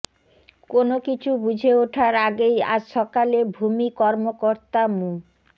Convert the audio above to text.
কোনো কিছু বুঝে ওঠার আগেই আজ সকালে ভূমি কর্মকর্তা মো